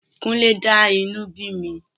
Kúnlé dá inú bí mi.